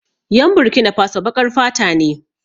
Yan Burkinafaso baƙar fata ne